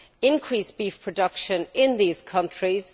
increased beef production in these countries.